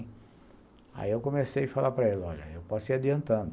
Aí, eu comecei a falar para ele, olha, eu posso ir adiantando.